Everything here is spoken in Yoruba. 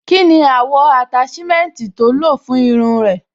Kí ni àwọ̀ àtáṣímẹ́ǹtì tó lò fún irun ẹ?